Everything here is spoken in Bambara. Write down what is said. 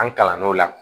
An kalan n'o la